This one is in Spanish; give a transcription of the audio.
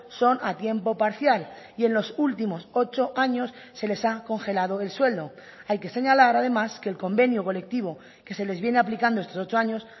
son a tiempo parcial y en los últimos ocho años se les ha congelado el sueldo hay que señalar además que el convenio colectivo que se les viene aplicando estos ocho años